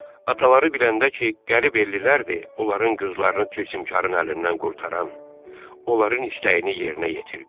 Ataları biləndə ki, qərib ellilərdir onların qızlarını tilsimkarın əlindən qurtaran, onların istəyini yerinə yetirdi.